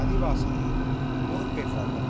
மதிவாசனும் பொறுப்பேற்றார்கள்